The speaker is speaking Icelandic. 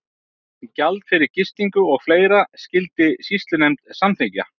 Gjald fyrir gistingu og fleira skyldi sýslunefnd samþykkja.